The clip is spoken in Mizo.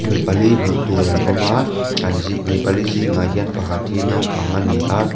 mi pali hmuh tur an awm a an zing mi pali zingah hian pakhat hi naupang a ni a.